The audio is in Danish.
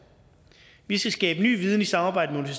vi skal skabe ny viden i samarbejde med